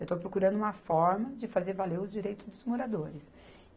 Eu estou procurando uma forma de fazer valer os direito dos moradores.